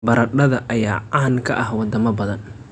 Baradhada ayaa caan ka ah wadamo badan.